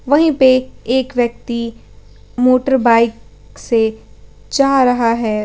वहीं पे एक व्यक्ति मोटरबाइक से जा रहा है।